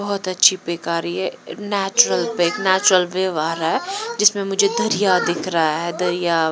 बहुत अच्छी पेक आ रही है नेचुरल पिक नेचुरल वेव आ रहा है जिसमें मुझे दरिया दिख रहा है दरिया।